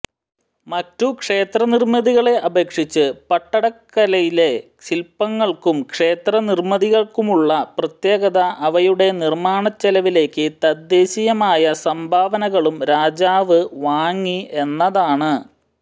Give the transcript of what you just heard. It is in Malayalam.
മറ്റു ക്ഷേത്രനിര്മ്മിതികളെ അപേക്ഷിച്ച് പട്ടടക്കലിലെ ശില്പങ്ങള്ക്കും ക്ഷേത്രനിര്മ്മിതികള്ക്കുമുള്ള പ്രത്യേകത അവയുടെ നിര്മ്മാണചെലവിലേക്ക് തദ്ദേശീയമായ സംഭാവനകളും രാജാവ് വാങ്ങി എന്നതാണ്